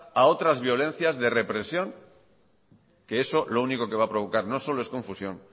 a otras violencias de represión que eso lo único que va a provocar no solo es confusión